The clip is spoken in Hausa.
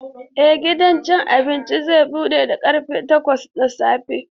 Eh gidan cin abinci zai bude da karfe takwas na safe.